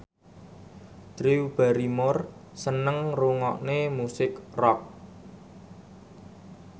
Drew Barrymore seneng ngrungokne musik rock